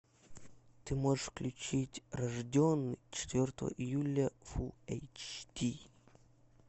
ты можешь включить рожденный четвертого июля фул эйч ди